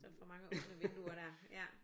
Så er der for mange åbne vinduer der aj